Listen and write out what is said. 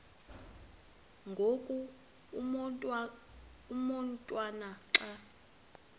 ngoku umotwana xa